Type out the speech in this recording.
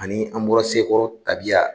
Ani an bɔra Sekɔrɔ tabiya